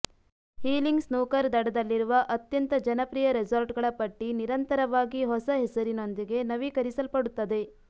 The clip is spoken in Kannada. ಹೀಲಿಂಗ್ ಸ್ನೂಕರ್ ದಡದಲ್ಲಿರುವ ಅತ್ಯಂತ ಜನಪ್ರಿಯ ರೆಸಾರ್ಟ್ಗಳ ಪಟ್ಟಿ ನಿರಂತರವಾಗಿ ಹೊಸ ಹೆಸರಿನೊಂದಿಗೆ ನವೀಕರಿಸಲ್ಪಡುತ್ತದೆ